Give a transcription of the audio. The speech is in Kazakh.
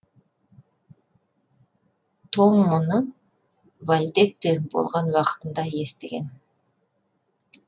том мұны вальдекте болған уақытында естіген